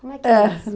Como é que é isso? Ah